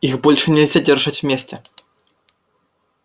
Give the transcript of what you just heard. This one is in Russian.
их больше нельзя держать вместе